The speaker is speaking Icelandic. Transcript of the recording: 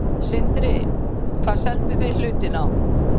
Sindri: Hvað selduð þið hlutinn á?